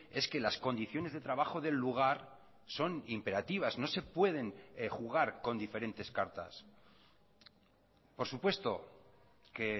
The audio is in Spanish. es que las condiciones de trabajo del lugar son imperativas no se pueden jugar con diferentes cartas por supuesto que